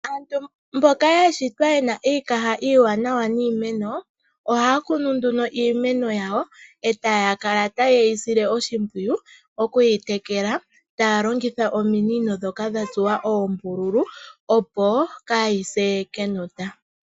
Aantu mboka ya shitwa ye na iikaha iiwanawa niimeno, ohaa kunu nduno iimeno yawo, e taa kala ta ye yi sile oshimpwiyu oku yi tekela, taa longitha ominino ndhono dha tsuwa oombululu, po kaa yi se kenota.